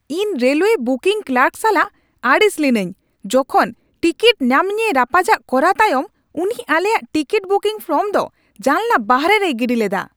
ᱤᱧ railway booking clerk ᱥᱟᱞᱟᱜ ᱟᱹᱲᱤᱥ ᱞᱤᱱᱟᱹᱧ ᱡᱚᱠᱷᱮᱡ ᱚᱵᱚ ᱴᱤᱠᱤᱴ ᱧᱟᱢ ᱱᱤᱭᱮ ᱨᱟᱯᱟᱪᱟᱜ ᱠᱚᱨᱟᱣ ᱛᱟᱭᱚᱢ ᱩᱱᱤ ᱟᱞᱮᱭᱟᱜ ᱴᱤᱠᱤᱴ ᱵᱩᱠᱤᱝ ᱯᱷᱚᱨᱢ ᱫᱚ ᱡᱟᱱᱟᱞᱟ ᱵᱟᱦᱨᱮ ᱨᱮᱭ ᱜᱤᱰᱤ ᱞᱮᱫᱟ ᱾